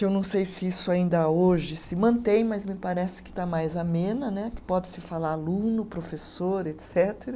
Eu não sei se isso ainda hoje se mantém, mas me parece que está mais amena né, que pode se falar aluno, professor, etcetera